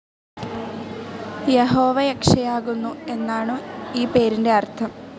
യഹോവ രക്ഷയാകുന്നു എന്നാണു ഈ പേരിൻ്റെ അർഥം.